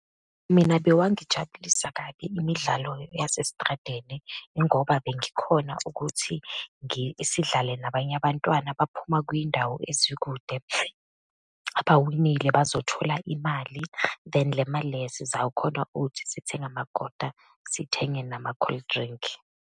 Mina bewangijabulisa kabi imidlalo yasesitradeni, ingoba bengikhona ukuthi sidlale nabanye abantwana abaphuma kwiyindawo ezikude. Abawinile bazothola imali, then le mali le sizawukhona ukuthi sithenge amakota, sithenge nama-cold drink.